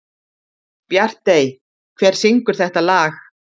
Bjartey, hver syngur þetta lag?